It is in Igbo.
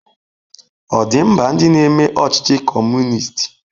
Ọ̀ dị mba ndị na-eme ọchịchị Kọmunist?